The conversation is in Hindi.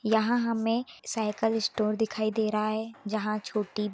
यहाँ हमे साइकिलस्टोर दिखाई दे रहा है। जहाँ छोटी --